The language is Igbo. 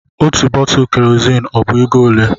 Otú bọtulụ Kerozini ọ bu égo olé?